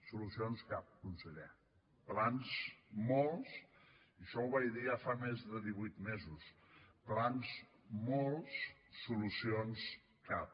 solucions cap conseller plans molts i això ho vaig dir ja fa més de divuit mesos plans molts solucions cap